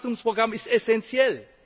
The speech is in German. Das Wachstumsprogramm ist essenziell.